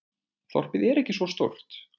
Þorpið er ekki svo stórt.